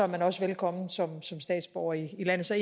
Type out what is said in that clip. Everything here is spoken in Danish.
man også velkommen som statsborger i landet så